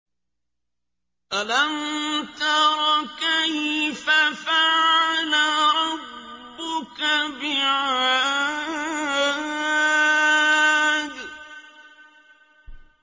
أَلَمْ تَرَ كَيْفَ فَعَلَ رَبُّكَ بِعَادٍ